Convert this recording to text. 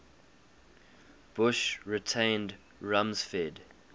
bush retained rumsfeld